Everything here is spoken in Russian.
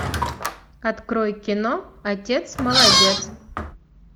открой кино отец молодец